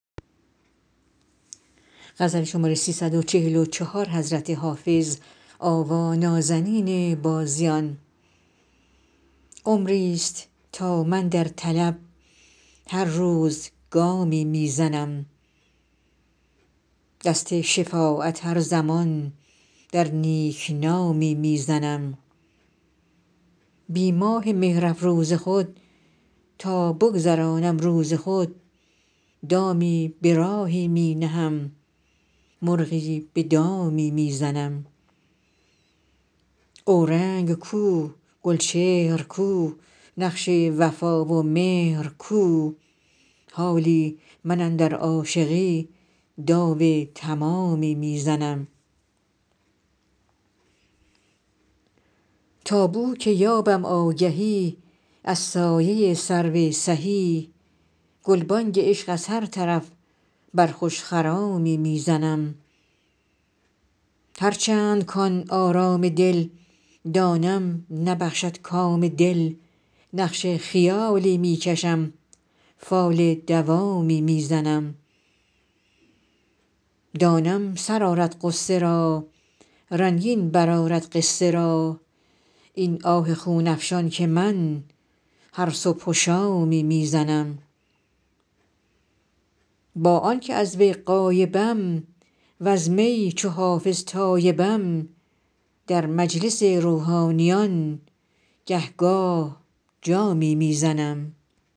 عمریست تا من در طلب هر روز گامی می زنم دست شفاعت هر زمان در نیک نامی می زنم بی ماه مهرافروز خود تا بگذرانم روز خود دامی به راهی می نهم مرغی به دامی می زنم اورنگ کو گلچهر کو نقش وفا و مهر کو حالی من اندر عاشقی داو تمامی می زنم تا بو که یابم آگهی از سایه سرو سهی گلبانگ عشق از هر طرف بر خوش خرامی می زنم هرچند کـ آن آرام دل دانم نبخشد کام دل نقش خیالی می کشم فال دوامی می زنم دانم سر آرد غصه را رنگین برآرد قصه را این آه خون افشان که من هر صبح و شامی می زنم با آن که از وی غایبم وز می چو حافظ تایبم در مجلس روحانیان گه گاه جامی می زنم